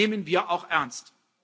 Und das nehmen wir auch ernst.